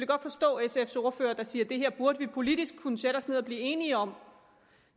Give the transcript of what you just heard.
godt forstå sf’s ordfører der siger at det her burde vi politisk kunne sætte os ned og blive enige om